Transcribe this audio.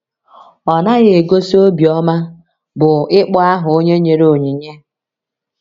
Ọ naghị egosi obiọma bụ́ ịkpọ aha onye nyere onyinye.